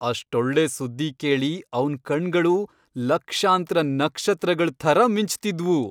ಅಷ್ಟೊಳ್ಳೆ ಸುದ್ದಿ ಕೇಳಿ ಅವ್ನ್ ಕಣ್ಗಳು ಲಕ್ಷಾಂತ್ರ ನಕ್ಷತ್ರಗಳ್ ಥರ ಮಿಂಚ್ತಿದ್ವು.